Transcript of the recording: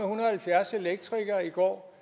og halvfjerds elektrikere i går